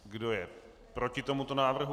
Kdo je proti tomuto návrhu?